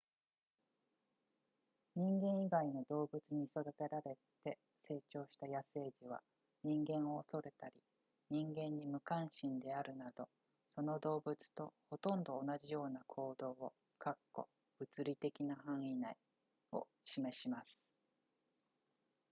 人間以外の動物に育てられて成長した野生児は人間を恐れたり人間に無関心であるなどその動物とほとんど同じような行動を物理的な範囲内を示します